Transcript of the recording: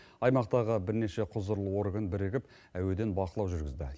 аймақтағы бірнеше құзырлы орган бірігіп әуеден бақылау жүргізді